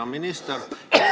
Hea minister!